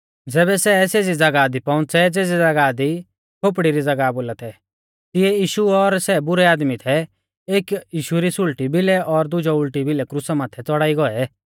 ज़ैबै सै सेज़ी ज़ागाह दी पौउंच़ै ज़ेज़ी ज़ागाह लै खोपड़ी री ज़ागाह बोला थै तिऐ यीशु और सै बुरै आदमी एक यीशु री सुल़टी भिलै और दुजौ उल़टी भिलै क्रुसा माथै च़ौड़ाई गौऐ